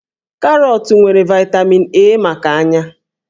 Karọọtụ nwere vaịtamin A maka ányá